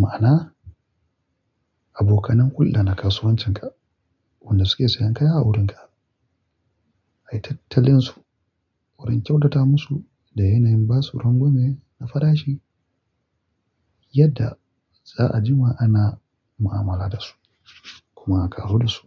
Ma'ana abokanan hulda na kasuwancinka, wanda suke sayan kaya a wurinka. Ai tattalin su, wurin kyautata musu da yanayin ba su rangwame na farashi, yadda za'a jima ana mu'amala da su kuma ka zoda su.